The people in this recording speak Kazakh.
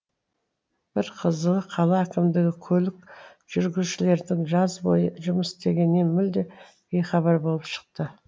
бір қызығы қала әкімдігі көлік жүргізушілердің жаз бойы жұмыс істегенінен мүлде бейхабар болып шықты